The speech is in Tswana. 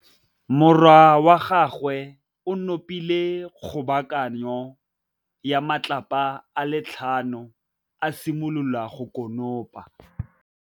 Morwa wa gagwe o nopile kgobokanô ya matlapa a le tlhano, a simolola go konopa.